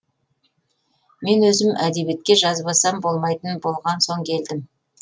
мен өзім әдебиетке жазбасам болмайтын болған соң келдім